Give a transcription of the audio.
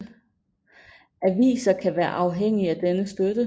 Aviser kan være afhængig af denne støtte